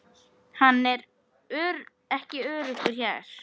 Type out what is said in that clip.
Hann er ekki öruggur hér